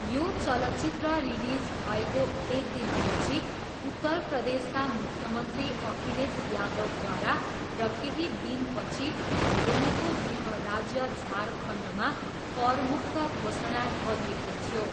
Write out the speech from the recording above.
यो चलचित्र रिलिज भएको एक दिनपछि उत्तर प्रदेशका मुख्यमन्त्री अखिलेश यादवद्वारा र केही दिनपछि धोनीको गृह राज्य झारखण्डमा करमुक्त घोषणा गरिएको थियो।